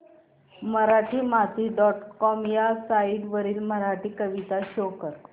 Marathimati dot com ह्या site वरील मराठी कविता शो कर